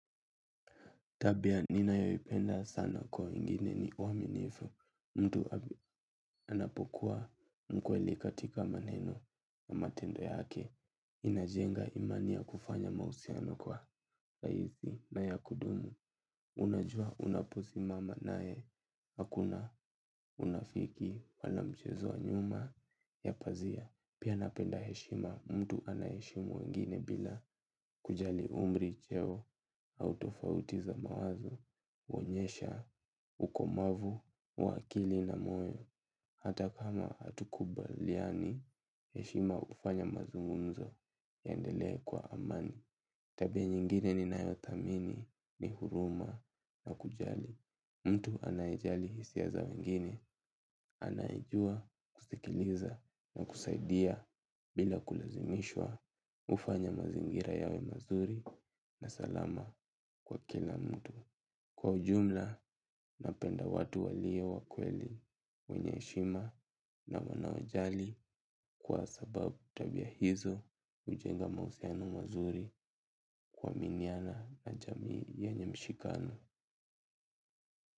Tabia ninayoipenda sana kwa wengine ni uaminifu mtu anapokuwa mkweli katika maneno na matendo yake. Inajenga imani ya kufanya mahusiano kwa rahisi na ya kudumu. Unajua unaposimama naye hakuna unafiki wala mchezo wa nyuma ya pazia. Pia napenda heshima mtu anayeheshimu wengine bila kujali umri cheo au tofauti za mawazo, huonyesha, ukomavu, wa akili na moyo. Hata kama hatukubaliani, heshima hufanya mazungumzo yaendelee kwa amani. Tabia nyingine ninayothamini ni huruma na kujali. Mtu anayejali hisia za wengine, anayejua, kusikiliza na kusaidia bila kulazimishwa hufanya mazingira yawe mazuri na salama kwa kila mtu. Kwa ujumla napenda watu walio wakweli wenye heshima na wanaojali. Kwa sababu tabia hizo hujenga mahusiano mazuri kuaminiana na jamii yanye mshikano.